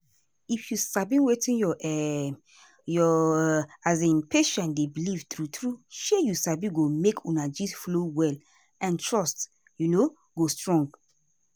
if you sabi wetin your um your um patient dey believe true true shey you sabi go make una gist flow well and trust um go strong.